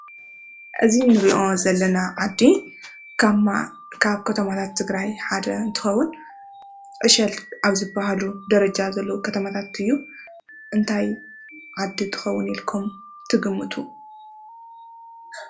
እዚ እንሪኦ ዘለና ዓዲ ካብ ማ ከተማታት ትግራይ ሓደ እንትኸውን ዕሸል ኣብ ዝባሃሉ ደረጃ ዘለዉ ከተማታት እዩ፡፡ እንታት ዓዲ ትኸውን ኢልኩም ትግምቱ?